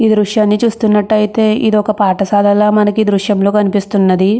ఈ దృశ్యం చూస్తుంటే ఇది ఒక పాఠశాలల మనకి దృశ్యంలో కనిపిస్తున్నది.